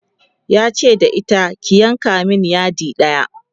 yace da ita ki "yanka min yadi ɗaya!"